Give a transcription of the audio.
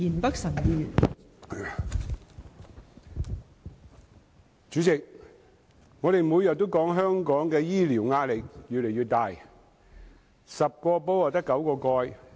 代理主席，我們每天都說，香港的醫療壓力越來越大 ，10 個煲只有9個蓋。